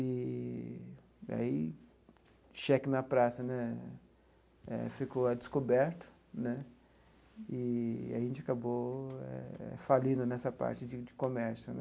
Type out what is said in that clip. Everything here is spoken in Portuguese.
Eee e aí o cheque na praça né eh ficou a descoberto né eee e a gente acabou falindo nessa parte de de comércio né.